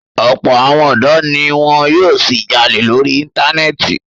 Ọ̀pọ̀ àwọn ọ̀dọ́ ni wọn yóò ṣì jalè lórí Íńtánẹ́ẹ̀tì.